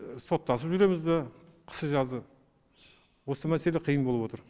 соттасып жүреміз бе қысы жазы осы мәселе қиын болып отыр